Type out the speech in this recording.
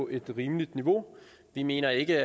et rimeligt niveau vi mener ikke